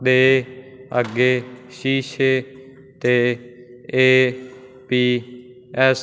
ਦੇ ਅੱਗੇ ਸ਼ੀਸ਼ੇ ਤੇ ਏ_ਪੀ_ਐਸ --